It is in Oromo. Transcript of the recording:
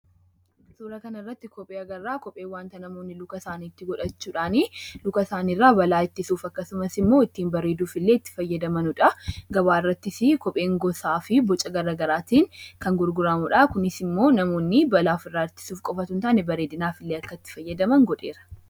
Suuraa kana irratti kophee agarraa. Kopheen waanta luka isaaniitti godhachuudhaanii luka isaanii irraa balaa ittisuuf akkasumas immoo ittiin bareeduuf illee itti fayyadamanidha. Gabaa irrattis kopheen gosaa fi boca garaagaraatiin kan gurguramudha. Kunis immoo namoonni balaa ofirraa ittisuuf qofa osoo hin taane bareedinaaf akka itti fayyadan godheera.